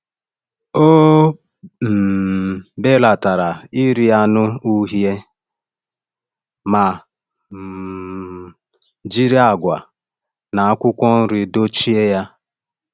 Ọ um belatara iri anụ uhie ma um jiri agwa na akwụkwọ nri dochie ya.